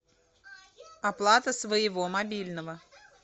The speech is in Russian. оплата своего мобильного